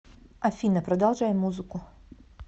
афина продолжай музыку